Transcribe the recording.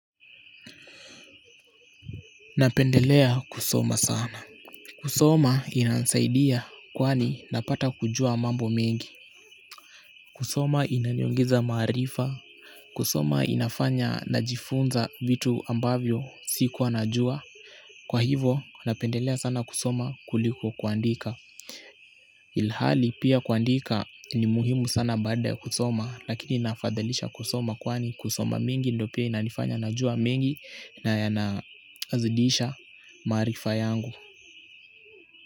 Napendelea kusoma sana kusoma inanisaidia kwani napata kujua mambo mengi kusoma inaniongeza maarifa kusoma inafanya najifunza vitu ambavyo siku najua kwa hivo napendelea sana kusoma kuliko kuandika ilhali pia kuandika ni muhimu sana baada ya kusoma lakini nafadhalisha kusoma kwani kusoma mingi ndo pia inanifanya najua mingi na ya nazidisha maarifa yangu.